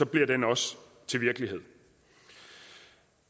bliver den også til virkelighed